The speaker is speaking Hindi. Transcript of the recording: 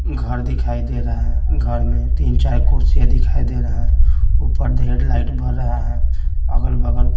घर दिखाई दे रहा है घर में तीन-चार कुर्सियां दिखाई दे रहा है ऊपर लाइट बर रहा है अगल-बगल--